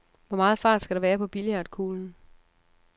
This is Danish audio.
Hvor meget fart skal der være på billiardkuglen?